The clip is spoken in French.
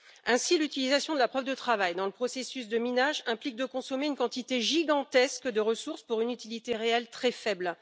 Ainsi, l'utilisation de la preuve de travail dans le processus de minage implique de consommer une quantité gigantesque de ressources pour une utilité réelle très faible.